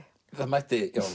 mætti